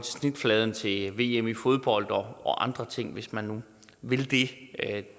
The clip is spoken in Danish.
snitfladen til vm i fodbold og andre ting hvis man nu vil det